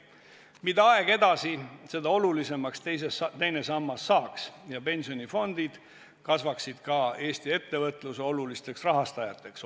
Mida aeg edasi, seda olulisemaks teine sammas saaks ja pensionifondid kasvaksid ka Eesti ettevõtluse olulisteks rahastajateks.